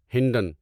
Hindon